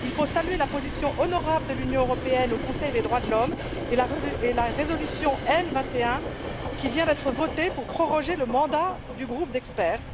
Il faut saluer la position honorable de l'Union européenne au Conseil des droits de l'homme et la résolution L21, qui vient d'être votée pour proroger le mandat du groupe d'experts.